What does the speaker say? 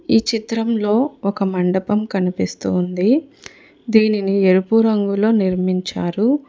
ఈ చిత్రంలో ఒక మండపం కనిపిస్తూ ఉంది దీనిని ఎరుపు రంగులో నిర్మించారు.